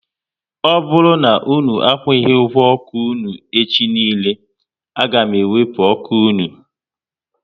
Ọ bụrụ na unu akwughi ụgwọ ọkụ unu echi niile, a ga ewepu ọkụ unu